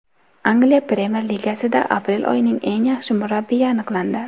Angliya Premyer ligasida aprel oyining eng yaxshi murabbiyi aniqlandi.